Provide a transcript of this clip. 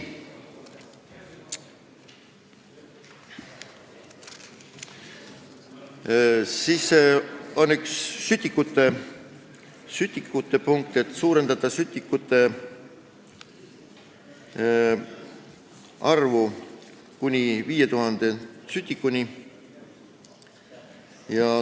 Siis on siin üks sütikute punkt, mis näeb ette suurendada sütikute arvu kuni 5000-ni.